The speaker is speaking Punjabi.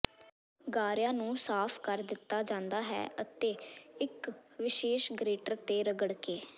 ਗਾਰਿਆਂ ਨੂੰ ਸਾਫ਼ ਕਰ ਦਿੱਤਾ ਜਾਂਦਾ ਹੈ ਅਤੇ ਇੱਕ ਵਿਸ਼ੇਸ਼ ਗਰੇਟਰ ਤੇ ਰਗੜਕੇ